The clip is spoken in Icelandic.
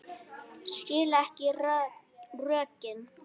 Skil ekki rökin.